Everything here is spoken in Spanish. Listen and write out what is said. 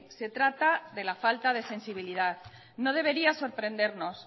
se trata de la falta de sensibilidad no debería sorprendernos